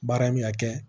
Baara in bi ka kɛ